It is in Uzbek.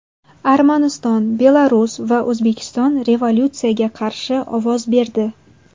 Armaniston, Belarus va O‘zbekiston rezolyutsiyaga qarshi ovoz berdi.